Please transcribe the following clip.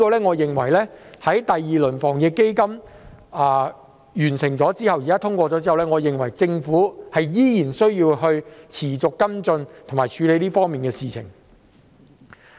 我認為在第二輪防疫抗疫基金通過後，政府仍然需要持續跟進和處理這方面的事情。